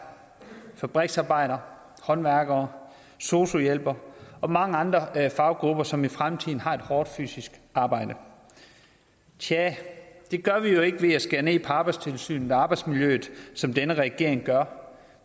fabriksarbejdere håndværkere sosu hjælpere og mange andre faggrupper som i fremtiden har et hårdt fysisk arbejde tja det gør vi jo ikke ved at skære ned på arbejdstilsynet og arbejdsmiljøet som denne regering gør